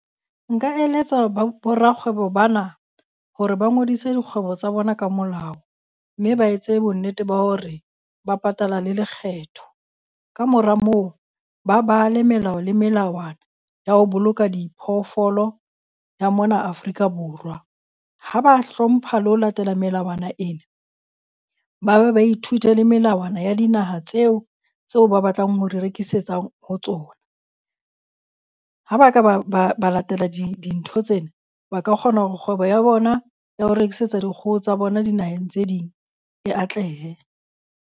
Nka eletsa bo rakgwebo ba na hore ba ngodise dikgwebo tsa bona ka molao, mme ba etse bonnete ba hore ba patala le lekgetho. Kamora moo, ba bale melao le melawana ya ho boloka diphoofolo ya mona Afrika Borwa. Ha ba hlompha le ho latela melawana ena, ba ba ba ithute le melawana ya dinaha tseo tseo ba batlang ho di rekisetsang ho tsona. Ha ba ka ba ba ba latela dintho tsena, ba ka kgona hore kgwebo ya bona ya ho rekisetsa dikgoho tsa bona dinaheng tse ding e atlehe.